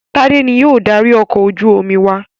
Tádé ni yóò darí ọkọ̀ ojú-omi wa.